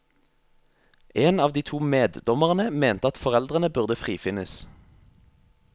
En av de to meddommerne mente at foreldrene burde frifinnes.